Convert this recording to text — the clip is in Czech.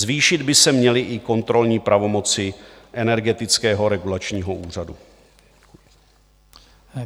Zvýšit by se měly i kontrolní pravomoci Energetického regulačního úřadu.